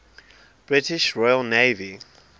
british royal navy